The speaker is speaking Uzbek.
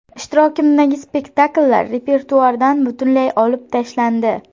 Ishtirokimdagi spektakllar repertuardan butunlay olib tashlandi.